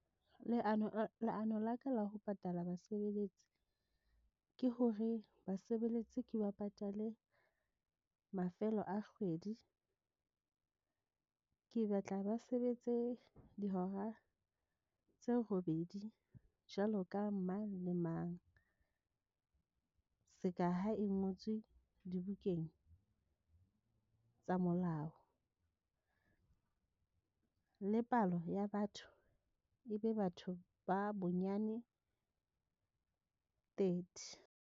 Leano la ka la ho patala basebeletsi ke hore basebeletsi ke ba patale mafelo a kgwedi, ke batla ba sebetse dihora tse robedi jwalo ka mang le mang. Seka ha e ngotswe dibukeng tsa molao, le palo ya batho e be batho ba bonyane thirty.